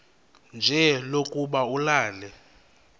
nje lokuba ulale